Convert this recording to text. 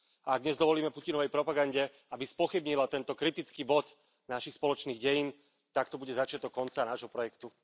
Ak dnes dovolíme Putinovej propagande, aby spochybnila tento kritický bod našich spoločných dejín, tak to bude začiatok konca nášho projektu.